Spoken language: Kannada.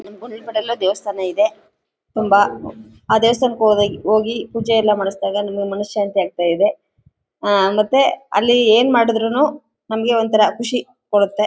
ದೇವಸ್ಥಾನ ಇದೆ ತುಂಬಾ ಆ ದೇವಸ್ಥಾನಕ್ಕೆ ಹೋಗಿ ಪೂಜೆ ಎಲ್ಲ ಮಾಡಿಸಿದಾಗ ನಿಮಗೆ ಮನಶಾಂತಿ ಆಗ್ತ ಇದೆ ಮತ್ತೆ ಆ ಅಲ್ಲಿ ಏನ್ ಮಾಡಿದ್ರುನು ನಮಗೆ ಒಂತರ ಖುಷಿ ಕೊಡುತ್ತೆ.